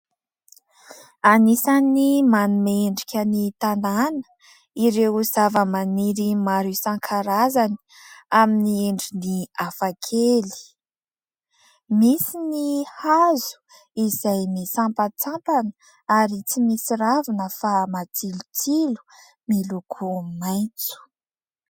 Anisan'ny manome endrika ny tanàna ireo zava-maniry maro isankarazany amin'ny endriny hafakely. Misy ny hazo izay misampantsampana ary tsy misy ravina fa matsilotsilo miloko maitso.